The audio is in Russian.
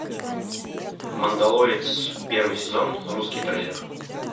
мандалорец первый сезон русский трейлер